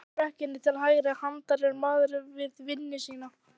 Efst í brekkunni til hægri handar er maður við vinnu sína